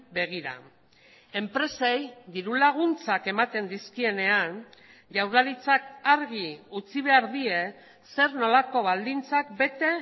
begira enpresei diru laguntzak ematen dizkienean jaurlaritzak argi utzi behar die zer nolako baldintzak bete